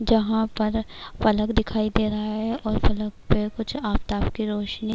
جہاں پر فلک دکھایی دے رہا ہےاور فلک پی کچھ آفتاب کی روشنی